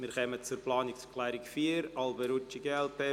Wir kommen zur Planungserklärung 4, Alberucci/glp